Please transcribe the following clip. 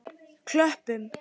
Klöppum